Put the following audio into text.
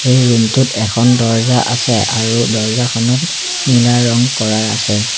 এই ৰুম টোত এখন দৰ্জ্জা আছে আৰু দৰ্জ্জাখনত নীলা ৰং কৰা আছে।